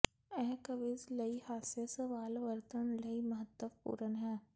ਇਹ ਕਵਿਜ਼ ਲਈ ਹਾਸੇ ਸਵਾਲ ਵਰਤਣ ਲਈ ਮਹੱਤਵਪੂਰਨ ਹੈ